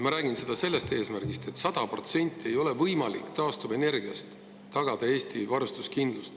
Ma räägin seda sellepärast, et ei ole võimalik taastuvenergiaga tagada 100% ulatuses Eesti varustuskindlus.